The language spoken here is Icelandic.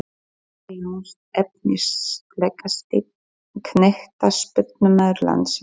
Kata Jóns Efnilegasti knattspyrnumaður landsins?